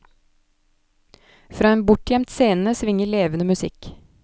Fra en bortgjemt scene svinger levende musikk.